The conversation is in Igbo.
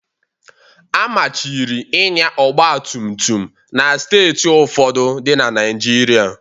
Amachiri ịnya ọgba tum tum na Steeti ụfọdụ dị na Naịjirịa